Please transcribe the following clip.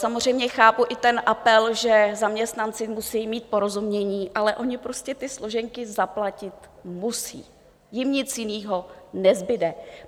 Samozřejmě chápu i ten apel, že zaměstnanci musejí mít porozumění, ale oni prostě ty složenky zaplatit musí, jim nic jiného nezbude.